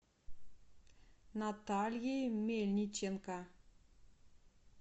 натальей мельниченко